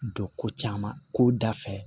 Don ko caman ko dafɛ